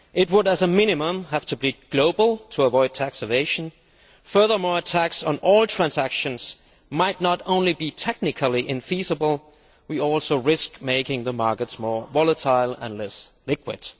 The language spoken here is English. That tax, as a minimum, would have to be global to avoid tax evasion. Furthermore, a tax on all transactions might not only be technically infeasible, but would also risk making the markets more volatile and less liquid.